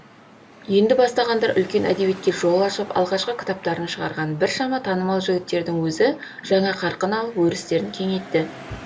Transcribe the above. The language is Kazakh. енді бастағандар үлкен әдебиетке жол ашып алғашқы кітаптарын шығарған біршама танымал жігіттердің өзі жаңа қарқын алып өрістерін кеңейтті